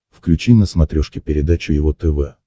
включи на смотрешке передачу его тв